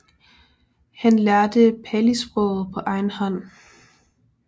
Han lærte Palisproget på egen hånd